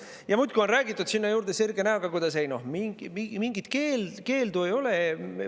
Ja muidugi on räägitud sinna juurde sirge näoga: "Ei noh, mingit keeldu ei ole.